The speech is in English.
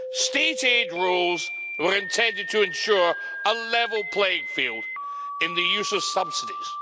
State aid rules were intended to ensure a level playing field in the use of subsidies.